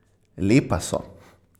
Lepa so.